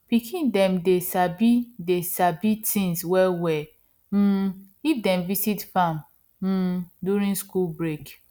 pikin dem dey sabi dey sabi things wellwell um if dem visit farm um during school break